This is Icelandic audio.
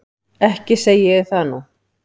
Ekki segi ég það nú.